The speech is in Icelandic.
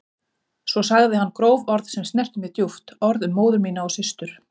Svo sagði hann gróf orð sem snertu mig djúpt, orð um móður mína og systur.